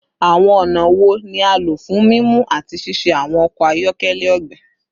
Awọn ọna wo ni a lo fun mimu ati ṣiṣe awọn ọkọ ayọkẹlẹ ogbin?